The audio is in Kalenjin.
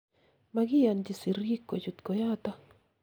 makiyonchi sirik kochut koyoto